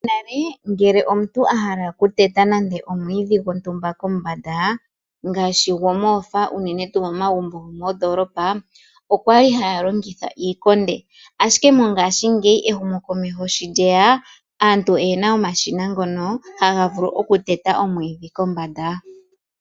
Nale ngele omuntu ahala oku teta nande omwiidhi gwontumba Kombanda ngaashi gomohofa unene tuu momagumbo go moondoolopa okwali haya longitha iikonde, Ashike mongaashingeyi ehumokomeho sho lyeya aantu oyena omashina ngono haga vulu okuteta omwiidhi kombanda.